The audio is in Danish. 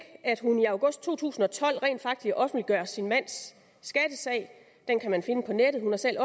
at hun i august to tusind og tolv rent faktisk offentliggør sin mands skattesag den kan man finde på nettet hun har selv